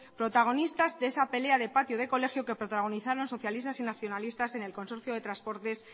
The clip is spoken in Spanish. protagonistas de esa pelea de patio de colegio que protagonizaron socialistas y nacionalistas en el consorcio de transportes